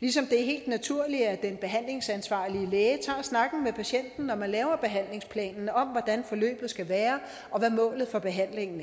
ligesom det er helt naturligt at den behandlingsansvarlige læge tager snakken med patienten når man laver behandlingsplanen om hvordan forløbet skal være og hvad målet for behandlinen